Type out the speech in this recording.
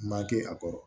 Ma kɛ a kɔrɔ